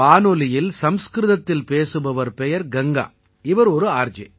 வானொலியில்சம்ஸ்கிருதத்தில்பேசுபவர்பெயர்கங்கா இவர்ஒருஆர்